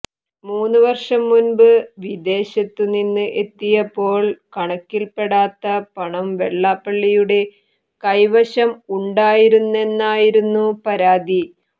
മൂന്നു വർഷം മുൻപ് വിദേശത്തു നിന്ന് എത്തിയപ്പോൾ കണക്കിൽപ്പെടാത്ത പണം വെള്ളാപ്പള്ളിയുടെ കൈവശം ഉണ്ടായിരുന്നെന്നായിരുന്നു പരാതി